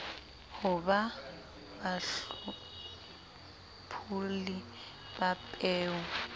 ho ba bahlopholli ba peo